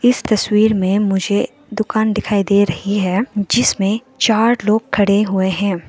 इस तस्वीर में मुझे दुकान दिखाई दे रही है जिसमें चार लोग खड़े हुए हैं।